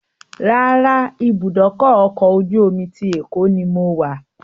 Rárá, ìbúdókọ̀ ọ̀kọ̀ ojú omi ti Èkó ni mo wà